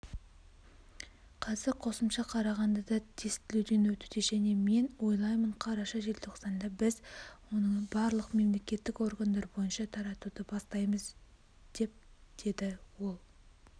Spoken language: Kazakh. қазір қосымша қарағандыда тестілеуден өтуде және мен ойлаймын қараша-желтоқсанда біз оны барлық мемлекеттік органдар бойынша таратуды бастаймыз деп деді ол